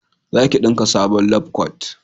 za ki dinka sabon labkwat!